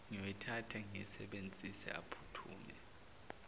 ngiyoyithatha ngiyisebenzise aphuthume